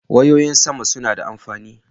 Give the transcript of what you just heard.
Wayoyin sama suna da amfani.